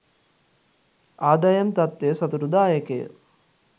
ආදායම් තත්ත්වය සතුටුදායකය